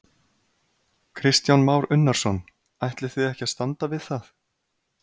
Kristján Már Unnarsson: Ætlið þið ykkur að standa við það?